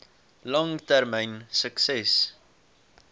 lang termyn sukses